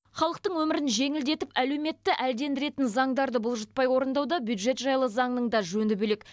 халықтың өмірін жеңілдетіп әлеуметті әлдендіретін заңдарды бұлжытпай орындауда бюджет жайлы заңның да жөні бөлек